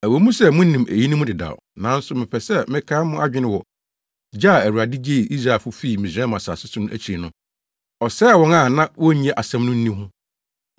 Ɛwɔ mu sɛ munim eyinom dedaw, nanso mepɛ sɛ mekae mo adwene wɔ gye a Awurade gyee Israelfo fii Misraim asase so na akyiri no, ɔsɛee wɔn a na wonnye asɛm no nni no ho.